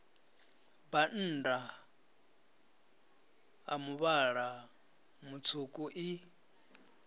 bannda a muvhala mutswuku i